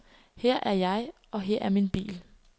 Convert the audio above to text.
Her er jeg, og her er min bil.